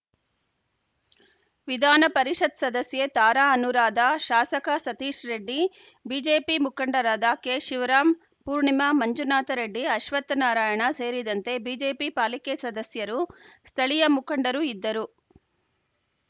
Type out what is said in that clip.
ವಿಧಾನ ಪರಿಷತ್‌ ಸದಸ್ಯೆ ತಾರಾ ಅನೂರಾಧ ಶಾಸಕ ಸತೀಶ್‌ ರೆಡ್ಡಿ ಬಿಜೆಪಿ ಮುಖಂಡರಾದ ಕೆಶಿವರಾಮ್‌ ಪೂರ್ಣಿಮಾ ಮಂಜುನಾಥ ರೆಡ್ಡಿ ಅಶ್ವತ್ಥನಾರಾಯಣ ಸೇರಿದಂತೆ ಬಿಜೆಪಿ ಪಾಲಿಕೆ ಸದಸ್ಯರು ಸ್ಥಳೀಯ ಮುಖಂಡರು ಇದ್ದರು